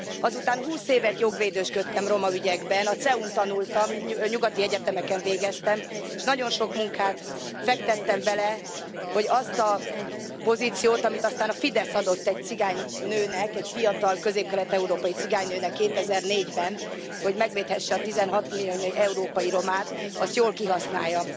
Azután húsz évet jogvédősködtem roma ügyekben, a CEU n tanultam, nyugati egyetemeken végeztem, és nagyon sok munkát fektettem bele, hogy azt a pozíciót, amit aztán a Fidesz adott egy cigány nőnek, egy fiatal, közép kelet európai cigány nőnek 2004 ben, hogy megvédhesse a 16 millió európai romát, azt jól kihasználjam.